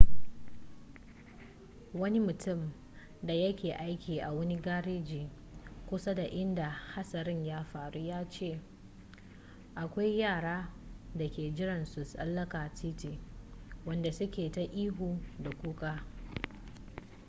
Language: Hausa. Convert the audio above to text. wani mutum da ya ke aiki a wani gareji kusa da inda hatsarin ya faru ya ce akwai yara da ke jiran su tsallaka titi wadanda su ke ta ihu da kuka